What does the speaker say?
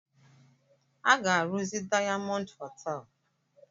Aga arụzi Dayamọnd hotel.